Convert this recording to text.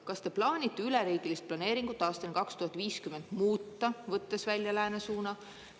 Kas te plaanite üleriigilist planeeringut aastani 2050 muuta, võttes välja läänesuuna?